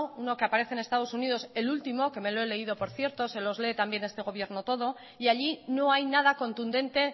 uno que aparece en estados unidos el último que me lo he leído por cierto se los lee también este gobierno todo y allí no hay nada contundente